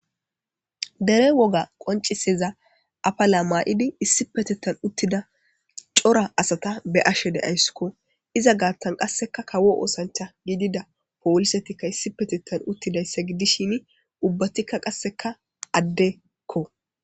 Dere woga qonccisiza afala mayiddi issippeteththan uttida cora asata be'ashshe de'ayissikko.izza gaththanni qasekka kawo oththanichcha gidida polisetikka issippeteththan uttidayissa gidishshin ubbatikka qase adekko.